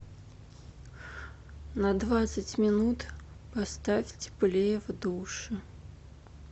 на двадцать минут поставь теплее в душе